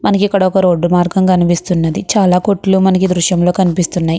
మనకి ఇక్కడ ఒక రోడ్డు మార్గము కనిపిస్తున్నాది. చాలా కొట్లు మనకి ఈ దృశ్యం లో కనిపిస్తున్నాయ్.